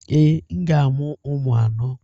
Ee, m ga-amụ ụmụ anọ.